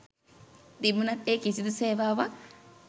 තිබුනත් එ කිසිදු සේවාවක්